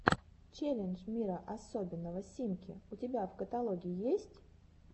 челлендж мира особенного симки у тебя в каталоге есть